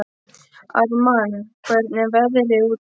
Ármann, hvernig er veðrið úti?